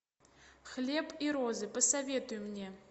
хлеб и розы посоветуй мне